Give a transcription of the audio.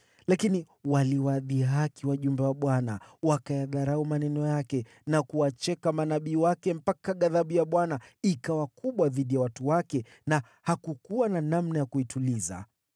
Lakini waliwadhihaki wajumbe wa Bwana wakayadharau maneno yake na kuwacheka manabii wake mpaka ghadhabu ya Bwana ikawa kubwa dhidi ya watu wake na hakukuwa na namna ya kuituliza.